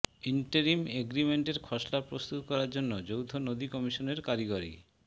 interim এগ্রিমেন্টের খসড়া প্রস্তুত করার জন্য যৌথ নদী কমিশনের কারিগরি